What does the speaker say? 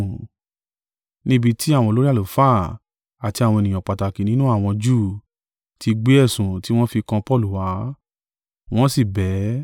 ní ibi tí àwọn olórí àlùfáà àti àwọn ènìyàn pàtàkì nínú àwọn Júù ti gbé ẹ̀sùn tí wọ́n fi kan Paulu wá, wọ́n sì bẹ̀ ẹ́.